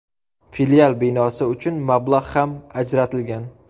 Filial binosi uchun mablag‘ ham ajratilgan.